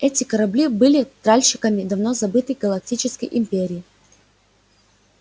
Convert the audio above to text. эти корабли были тральщиками давно забытой галактической империи